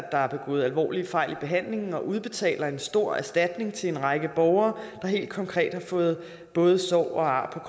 at der er begået alvorlige fejl i behandlingen og udbetaler en stort erstatning til en række borgere der helt konkret har fået både sår og ar